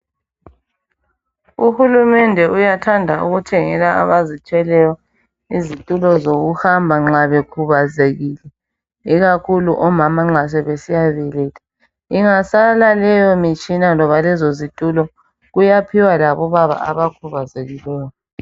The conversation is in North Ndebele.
Uhulumende uyathanda ukuthengela abazithweleyo izitulo zokuhamba nxa bekhubazekile, ikakhulu omama nxa sebesiyabeletha. Ingasala leyo mitshina loba lezozitulo kuyaphiwa labo baba abakhubazekileyo.